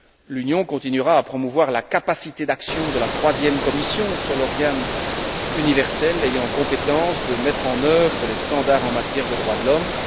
L'Union continuera à promouvoir la capacité d'action de la troisième commission, seul organe universel ayant compétence de mettre en œuvre les normes en matière de droits de l'homme.